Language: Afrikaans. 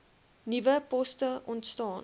nuwe poste ontstaan